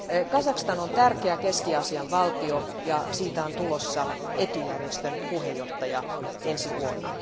Kazakstan on tärkeä Keski Aasian valtio, ja siitä on tulossa ETYJ järjestön puheenjohtaja ensi vuonna.